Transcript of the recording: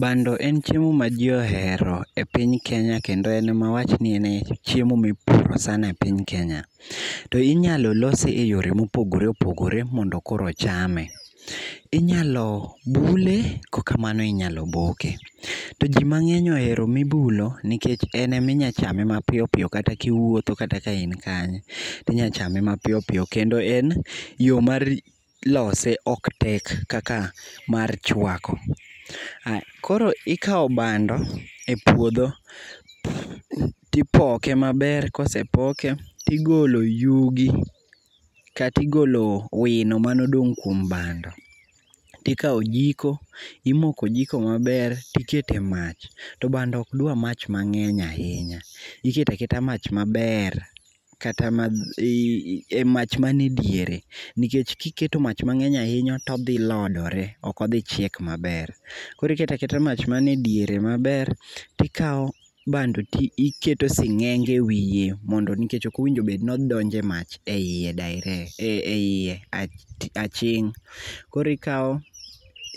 Bando en chiemo maji ohero e piny Kenya kendo en mawach ni en e chiemo mipuro sana e piny Kenya. To inyalo lose e yore mopogore opogore mondo koro ochame. Inyalo bule kokamano inyalo boke. To ji mang'eny ohero mibulo nikech en eminyachame mapiyo piyo kata kiwuotho kata ka in kanye tinyachame mapiyopiyo kendo en yo mar lose ok tek kaka mar chwako. Koro ikawo bando e puodho tipoke maber kosepoke tigolo yugi katigolo wino manodong' kuom bando tikawo jiko imoko jiko maber tikete mach to bando ok dwa mach mang'eny ahinya, iketo aketa mach maber kata mach mane diere nikech kiketo mach mang'eny ahinya todhilodore ok odhi chiek maber. Koro iketo aketa mach manidiere maber tikawo bando tiketo sing'enge e wiye nikech ok owinjo bedni odonjo e mach e iye aching' koro ikawo